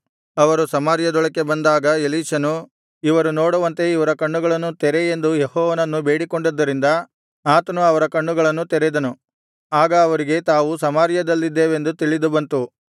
ಅವರು ಸಮಾರ್ಯದೊಳಗೆ ಬಂದಾಗ ಎಲೀಷನು ಇವರು ನೋಡುವಂತೆ ಇವರ ಕಣ್ಣುಗಳನ್ನು ತೆರೆ ಎಂದು ಯೆಹೋವನನ್ನು ಬೇಡಿಕೊಂಡದ್ದರಿಂದ ಆತನು ಅವರ ಕಣ್ಣುಗಳನ್ನು ತೆರೆದನು ಆಗ ಅವರಿಗೆ ತಾವು ಸಮಾರ್ಯದಲ್ಲಿದ್ದೇವೆಂದು ತಿಳಿದುಬಂತು